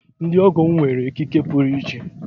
Ndị ọgọ m nwere ekike puru iche.